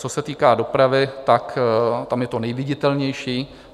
Co se týká dopravy, tak tam je to nejviditelnější.